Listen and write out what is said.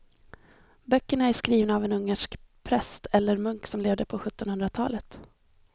Böckerna är skrivna av en ungersk präst eller munk som levde på sjuttonhundratalet.